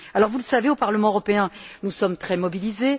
Vous le savez, au Parlement européen, nous sommes très mobilisés.